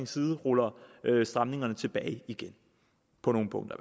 side ruller stramningerne tilbage igen på nogle punkter